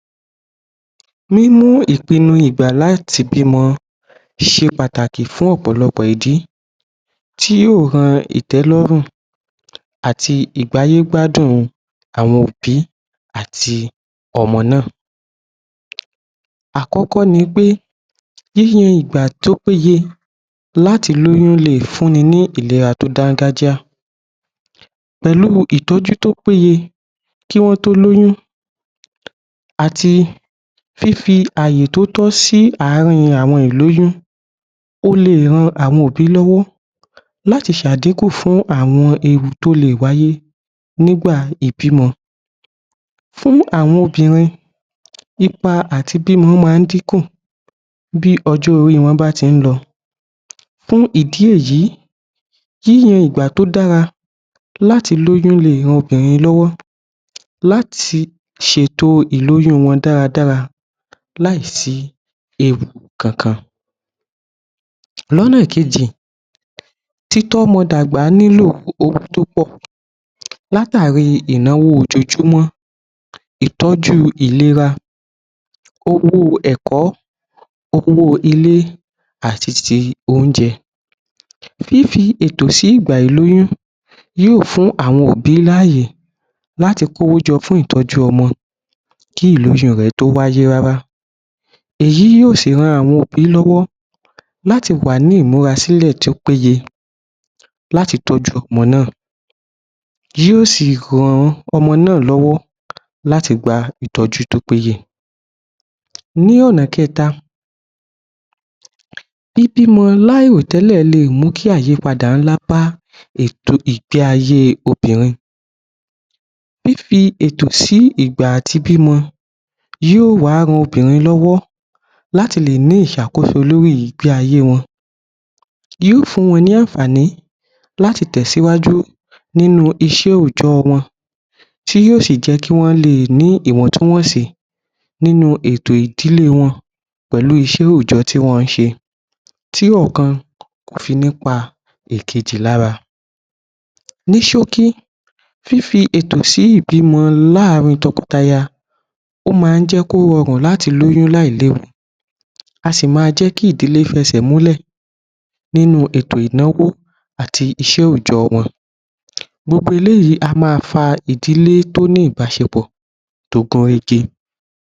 Níní ìpinnu ìgbà láti bímọ ṣe pàtàkì fún ọ̀pọ̀lọpọ̀ ìdí tí yóò ran ìtẹ́lọ́rùn àti ìgbáyégbádùn àwọn òbí àti ọmọ náà àkọ́kọ́ ni pé níye ìgbà tó péye láti lóyún lè fún ni ní ìlera tó dáńgájá pẹ̀lú ìtọ́jú tó péye. Kí wọ́n tó lóyún àti fífí àyè tó tọ́ sí àárín àwọn ìlóyún, ó lè ran àwọn òbí lọ́wọ́ láti ṣe àdínkù fún àwọn ewu tí ó lè wáyé nígbà ìbímọ fún àwọn obìnrin, ipa àti bímọ máa ń dínkù bí ọjọ́ orí wọn bá ti ń lọ. Fún ìdí èyí yíyan ìgbà tó dára láti lóyún lè ran obìnrin lọ́wọ́ láti ṣètò ìlóyún wọn dáradára láì sí ewu kankan. Lọ́nà kejì, títọ́ ọmọ dàgbà nílò owó tó pọ̀ Látàri ìnáwó ojojúmọ́, ìtọ́jú ìlera, owó ẹ̀kọ́, owó ilé, àti ti oúnjẹ. Fífi ètò sí ìgbà ìlóyún yóò fún àwọn òbí láàyè láti kó owó jọ fún ìtọ́jú ọmọ kí ìlóyún rẹ̀ tó wáyé rárá, èyí yóò si ran àwọn òbí lọ́wọ́ láti wà ní ìmúrasílẹ̀ tí ó péye, láti tọ́jú ọmọ náà. Yóò si ran ọmọ náà lọ́wọ́ láti gba ìtọ́jú tó péye. Ní ọ̀nà kẹ́ta, bíbí ọmọ láì rò tẹ́lẹ̀ lè mú àyípadà ńlá bá ètò ìgbé-ayé obìnrin. Fífí ètò sí ìgbà àti bímọ yóò wá ran obìnrin lọ́wọ́ láti lè ní ìṣàkoso lórí ìgbé-ayé wọn. Yóò fún wọn ní àǹfààní láti tẹ̀ síwájú nínú iṣẹ́ òòjọ́ wọn, tí yóò sì jẹ́ kí wọ́n lè ní ìwọ̀tún-wòsì, nínú ètò ìdílé wọn pẹ̀lú iṣẹ́ òòjọ́ tí wọ́n ṣe. Tí ọ̀kan kò fí ní pa ìkejì lára. Ní sókí, fífí ètò sí ìbímọ láàrin tọkọtaya ó máa ń jẹ́ kí ó rọrùn láti lóyún láì léwu á si máa jẹ́ kí ìdílé fẹsẹ̀ múlẹ̀ nínú ètò ìnáwó àti iṣẹ́ òòjọ́ wọn. Gbogbo eléyì á máa fa ìdílé tó ní ìbáṣepọ̀ tó gún régé.